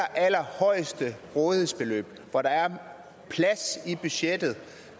allerallerhøjeste rådighedsbeløb hvor der er plads i budgettet